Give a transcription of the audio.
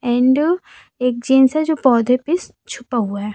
And एक jeans से जो पौधे पे छुपा हुआ है।